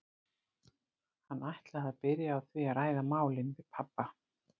Hann ætlaði að byrja á því að ræða málin við pabba.